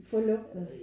Få lugten